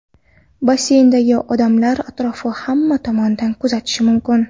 Basseyndagi odamlar atrofni hamma tomondan kuzatishi mumkin.